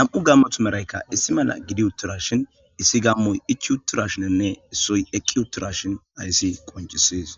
nam7u gammothu meraykka issi mala gidi uththiraashin issi gammoy ichi uthurashinenne issoy eqqi uththurashin hayssi qonccissees.